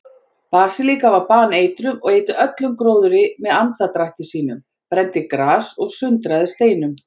Basilískan var baneitruð og eyddi öllum gróðri með andardrætti sínum, brenndi gras og sundraði steinum.